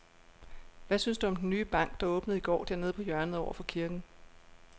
Hvad synes du om den nye bank, der åbnede i går dernede på hjørnet over for kirken?